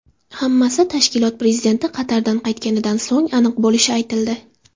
Hammasi tashkilot prezidenti Qatardan qaytganidan so‘ng aniq bo‘lishi aytildi .